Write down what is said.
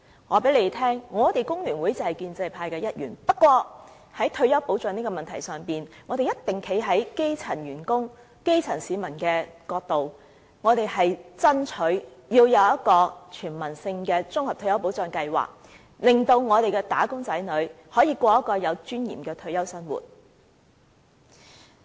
我告訴大家，工聯會就是建制派的一員，但在退休保障的問題上，我們是一定會站在基層員工、基層市民的一邊，爭取有一個全民性的綜合退休保障計劃，令"打工仔女"可以過着有尊嚴的退休生活。